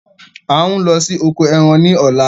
A ń lọ sí oko ẹran ní ọ̀la